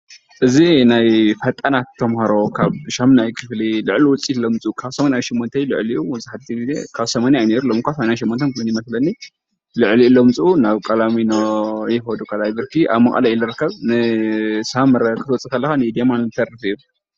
እዚ ናይ ፈጠናት ተማሃሮ ካብ 8ይ ክፍሊ ልዑል ውፅኢት ዘምፅኡ ተማሃሮ ካብ 88% ልዕሊኡ ዝመስለኒ ዘምፅኡ ቅድም ኢሉ ካብ 80% እዩ ነይሩ። ናብ ቀላሚኖ ካልኣይ ብርኪ ት/ት ይከዱ ኣብ መቐለ እዩ ዝርከብ ሳምረ ክትወፅእ ከለካ ንኢድ የማን ዝተርፍ እዩ።